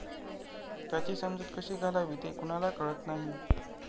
त्याची समजूत कशी घालावी ते कुणाला कळत नाही.